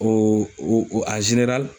O o la.